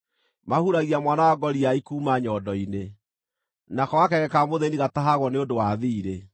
Mahuragia mwana wa ngoriai kuuma nyondo-inĩ; nako gakenge ka mũthĩĩni gatahagwo nĩ ũndũ wa thiirĩ.